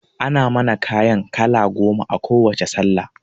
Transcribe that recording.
Ana mana kayan kala goma a kowacce sallah